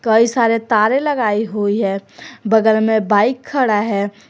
कई सारे तारें लगाई हुई हैं बगल में बाइक खड़ा है।